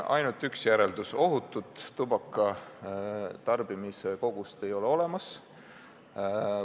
Seda sellepärast, et üks on kindel: ohutut tubakatarbimise kogust ei ole olemas.